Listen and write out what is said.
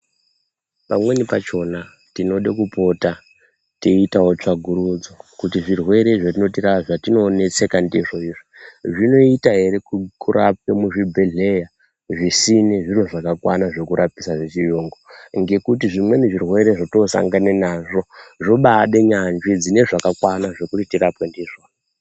Pamweni pachona tinoda kupota teiitawo tsvakurudzo kuti zvirwere zvatinonetseka ndizvo izvo zvinoita ere kurape muzvibhedhlera zvisine zviro zvakakwana zvekurapise zvechiyungu ngekuti zvimweni zvirwere zvotosangana nazvo zvobade nyanzvi dzine zvakakwana zvokuti tirapwe ndizvo.